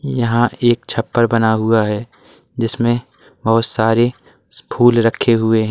यहां एक छप्पर बना हुआ है जिसमें बहुत सारे फूल रखे हुए हैं।